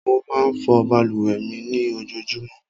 Mo máa fọ balùwẹ̀ mi ní ojoojúmọ́.